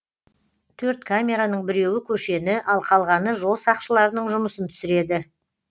төрт камераның біреуі көшені ал қалғаны жол сақшыларының жұмысын түсіреді